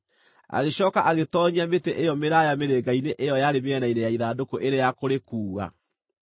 Agĩcooka agĩtoonyia mĩtĩ ĩyo mĩraaya mĩrĩnga-inĩ ĩyo yarĩ mĩena-inĩ ya ithandũkũ ĩrĩ ya kũrĩkuua.